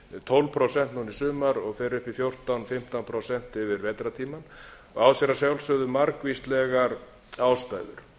tólf prósent núna í sumar og fer upp í fjórtán til fimmtán prósent yfir vetrartímann og á sér að sjálfsögðu margvíslegar ástæður